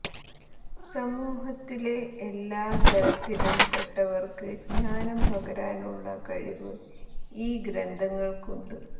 സമൂഹത്തിലെ എല്ലാ തരത്തിലും പെട്ടവര്ക്ക് ജ്ഞാനം പകരാനുള്ള കഴിവ് ഈ ഗ്രന്ഥങ്ങള്ക്കുണ്ട്